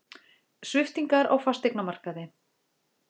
Sviptingar á fasteignamarkaði